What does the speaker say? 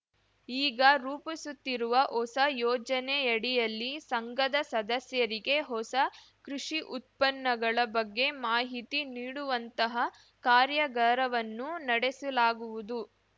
ಈಗ ರೂಪಿಸುತ್ತಿರುವ ಹೊಸ ಯೋಜನೆಯಡಿಯಲ್ಲಿ ಸಂಘದ ಸದಸ್ಯರಿಗೆ ಹೊಸ ಕೃಷಿ ಉತ್ಪನ್ನಗಳ ಬಗ್ಗೆ ಮಾಹಿತಿ ನೀಡುವಂತಹ ಕಾರ‍್ಯಗಾರವನ್ನು ನಡೆಸಲಾಗುವುದು